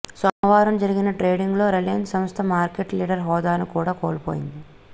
సోమవారం జరిగిన ట్రేడింగ్లో రిలయన్స్ సంస్థ మార్కెట్ లీడర్ హోదాను కూడా కోల్పోయింది